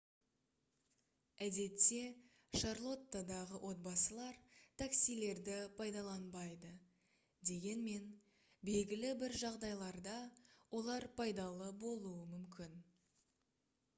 әдетте шарлоттадағы отбасылар таксилерді пайдаланбайды дегенмен белгілі бір жағдайларда олар пайдалы болуы мүмкін